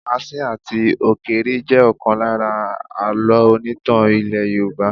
Asín àti ọ̀kéré jẹ ọ̀kan lára àlọ́ onítàn ilẹ́ Yorùbá.